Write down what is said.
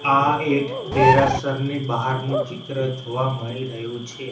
આ એક દેરાસરની બહારનું ચિત્ર જોવા મળી રહ્યું છે.